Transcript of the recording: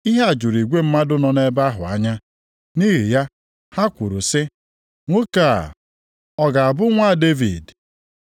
Ihe a juru igwe mmadụ nọ nʼebe ahụ anya. Nʼihi ya, ha kwuru sị, “Nwoke a, ọ ga-abụ Nwa Devid?” + 12:23 Onye nzọpụta ahụ.